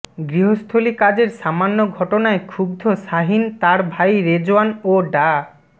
গৃহস্থলী কাজের সামান্য ঘটনায় ক্ষুব্ধ শাহিন তার ভাই রেজওয়ান ও ডা